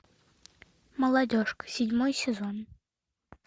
молодежка седьмой сезон